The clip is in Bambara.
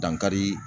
Dankari